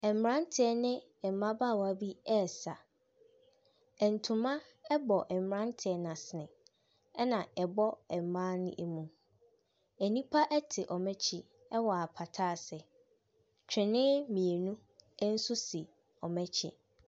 Ɛmberantiɛ ne mbabaawa bi ɛsa. Ɛntoma ɛbɔ mbrateɛ no asene ɛna ɛbɔ mbaa ne emu. Enipa ɛte ɔmo ekyi ɛwɔ apata ase. Twene mienu ɛnso si ɔmo ekyi.